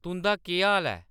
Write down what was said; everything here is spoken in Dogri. तुं'दा केह् हाल ऐ